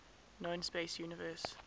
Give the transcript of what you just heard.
known space universe